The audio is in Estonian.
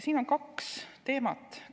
Siin on kaks teemat.